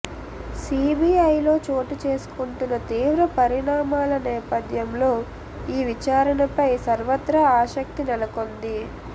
సిబిఐలో చోటుచేసుకుంటున్న తీవ్ర పరిణామాల నేపథ్యంలో ఈ విచారణపై సర్వత్రా ఆసక్తి నెలకొంది